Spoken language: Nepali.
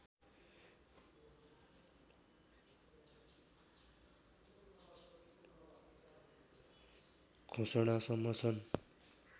घोषणासम्म छन्